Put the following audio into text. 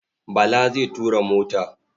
Bala zai tura mota.